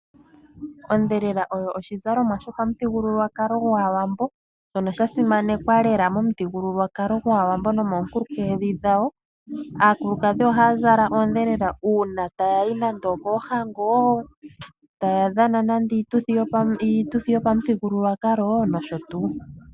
Ondhelela oyo oshizalomwa sho pamuthigululwakalo gwaawambo shono sha simanekwa lela momuthigululwakalo gwaawambo nomoonkulunkedhi dhawo . Aakulukadhi ohaya zla oondhelela uuna taya yi nande opoohango ,taya dhana nande iituthi yopamuthigululwakalo nosho tuu.